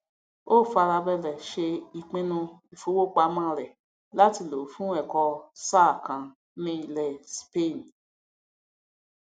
ó farabalẹ ṣe ìpinnu ìfowópamọ rẹ láti lòó fún ẹkọ ọ sáà kan ní ilẹ spain